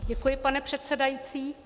Děkuji, pane předsedající.